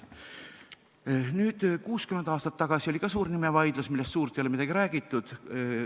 60 aastat tagasi oli samuti suur nimevaidlus, millest suurt midagi ei ole räägitud.